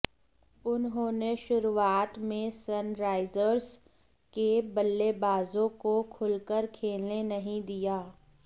उन्होंने शुरूआत में सनराइजर्स के बल्लेबाजों को खुलकर खेलने नहीं दिया